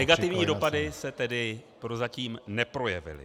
Negativní dopady se tedy prozatím neprojevily.